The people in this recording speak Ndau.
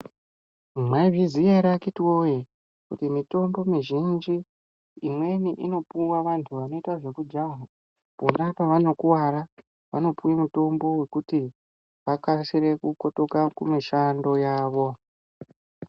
Mwaizviziya ere akiti woye kuti mitombo mizhinji imweni inopuwa vantu vanoita zvekujaha pona pevanokuwara vanopuwe mitombo yekuti vakasire kukotoka kumishando yavo.